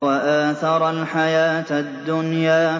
وَآثَرَ الْحَيَاةَ الدُّنْيَا